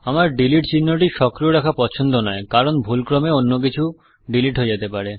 আমার ডিলিট চিহ্নটি সক্রিয় রাখা পছন্দ নয় কারন ভুলক্রমে অন্য কিছু ডীলিট হয়ে যেতে পারে